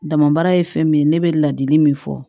Dama baara ye fɛn min ye ne bɛ ladili min fɔ